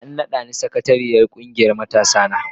An nada ni sakatariyar kungiyar matasana.